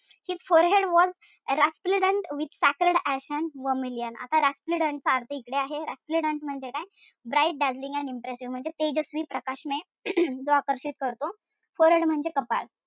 His forehead was resplendent with sacred ash and vermilion आता चा अर्थ इकडे आहे. Resplendent म्हणजे काय bright dazzling and impressive म्हणजे तेजस्वी, प्रकाशमय जो आकर्षित करतो. Forehead म्हणजे कपाळ.